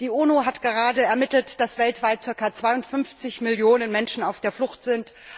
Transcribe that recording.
Die UNO hat gerade ermittelt, dass weltweit circa 52 Millionen Menschen auf der Flucht sind.